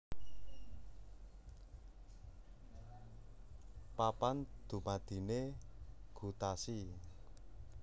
Papan dumadiné gutasi